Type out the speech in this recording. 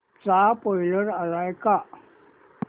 चा स्पोईलर आलाय का